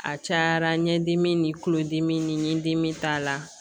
A cayara ɲɛdimi ni kulodimi ni dimi t'a la